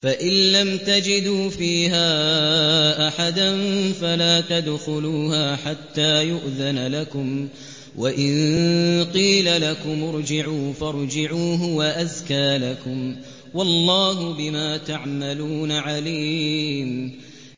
فَإِن لَّمْ تَجِدُوا فِيهَا أَحَدًا فَلَا تَدْخُلُوهَا حَتَّىٰ يُؤْذَنَ لَكُمْ ۖ وَإِن قِيلَ لَكُمُ ارْجِعُوا فَارْجِعُوا ۖ هُوَ أَزْكَىٰ لَكُمْ ۚ وَاللَّهُ بِمَا تَعْمَلُونَ عَلِيمٌ